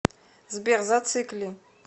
сбер зацикли